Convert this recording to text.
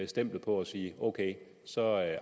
stemplet på og sige ok så